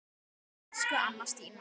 Elsku Anna Stína.